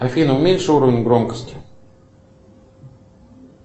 афина уменьши уровень громкости